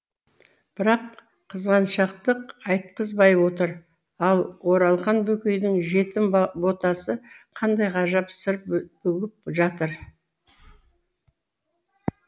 бірақ қызғаншақтық айтқызбай отыр ал оралхан бөкейдің жетім ботасы қандай ғажап сыр бүгіп жатыр